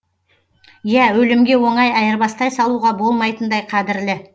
иә өлімге оңай айырбастай салуға болмайтындай қадірлі